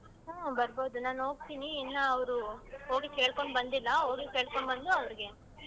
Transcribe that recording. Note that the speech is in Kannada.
ಹ್ಮ್ಂ ಬರ್ಬೋದು ನಾನು ಹೋಗ್ತಿನೀ ಇನ್ನ ಅವ್ರು ಹೋಗಿ ಕೇಳ್ಕೊಂಡ್ ಬಂದಿಲ್ಲಾ ಹೋಗಿ ಕೇಳ್ಕೊಂಡ್ ಬಂದು ಅವ್ರಿಗೆ.